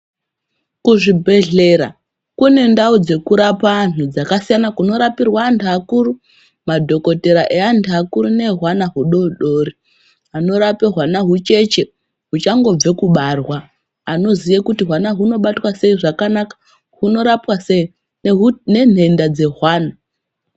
Kuzvibhedhlera kune ndau dzekurapa antu dzakasiyana kunorapirwa antu akuru madhokotera evantu vakuru neehwana hudodori. Anorape hwana hucheche huchangobve kubarwa hunoziye kuti hwana hunobatwa sei zvakanaka hunorapwa sei nenhenda dzehwana.